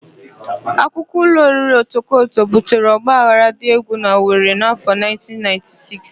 Akụkọ ụlọ oriri Otokoto butere ọgbaghara dị égwù n'Owere n'afọ 1996.